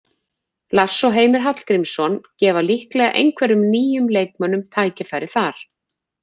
Lars og Heimir Hallgrímsson gefa líklega einhverjum nýjum leikmönnum tækifæri þar.